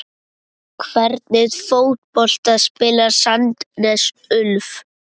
Hvernig fótbolta spilar Sandnes Ulf?